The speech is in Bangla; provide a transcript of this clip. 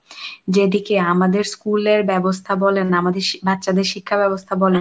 যেদিকে আমাদের school এর ব্যবস্থা বলেন আমাদের শি~ বাচ্চাদের শিক্ষা ব্যবস্থা বলেন,